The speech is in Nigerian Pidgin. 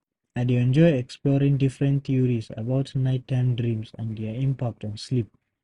I dey enjoy exploring different theories about nighttime dreams and their impact on sleep.